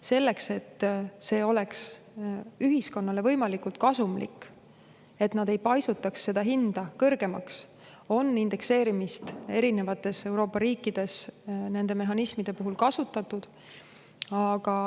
Selleks, et see oleks ühiskonnale võimalikult kasumlik, et nad ei paisutaks hinda kõrgemaks, on indekseerimist erinevates Euroopa riikides nende mehhanismide puhul kasutatud.